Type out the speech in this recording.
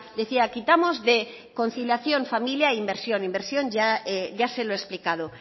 decía quitamos de conciliación familia e inversión inversión ya se lo he explicado